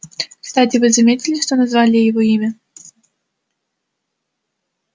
кстати вы заметили что назвали его имя